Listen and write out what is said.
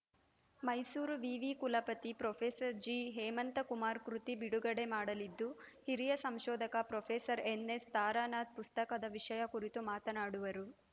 ಮೈಸೂರು ವಿವಿ ಕುಲಪತಿ ಪ್ರೊಫೆಸರ್ ಜಿಹೇಮಂತಕುಮಾರ್‌ ಕೃತಿ ಬಿಡುಗಡೆ ಮಾಡಲಿದ್ದು ಹಿರಿಯ ಸಂಶೋಧಕ ಪ್ರೊಫೆಸರ್ ಎನ್‌ಎಸ್‌ ತಾರಾನಾಥ್‌ ಪುಸ್ತಕದ ವಿಷಯ ಕುರಿತು ಮಾತನಾಡುವರು